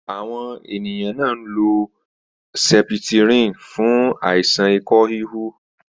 Àwọn ènìyàn nlo sepitirin fún àìsàn ikọ híhu.